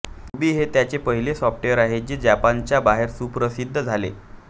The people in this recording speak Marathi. रुबी हे त्याचे पहिले सॉफ्टवेअर आहे जे जापानच्या बाहेर सुप्रसिद्ध झाले